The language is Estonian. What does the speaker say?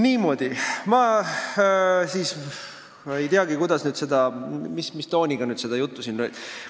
Niimoodi, ma ei teagi, kuidas, mis tooniga seda juttu siin rääkida.